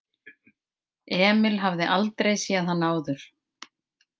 Emil hafði aldrei séð hann áður.